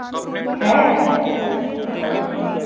ਹੈ ਹਾਂ